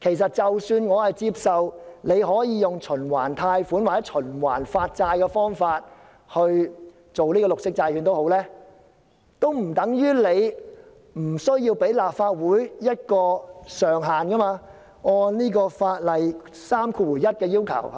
即使我接受政府可以循環貸款或循環發債的方法推出綠色債券，但這並不等於政府無須按《借款條例》第31條的要求，向立法會提交一個借款上限，對嗎？